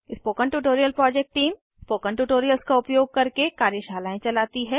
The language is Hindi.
spoken tutorial project team spoken tutorials का उपयोग करके कार्यशालाएं चलाती है